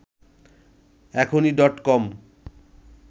এখনি ডট কম